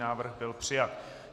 Návrh byl přijat.